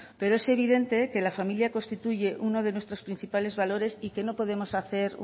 pero es evidente que la familia constituye uno de nuestros principales valores y que no podemos hacer